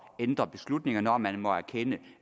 ændre beslutninger når man må erkende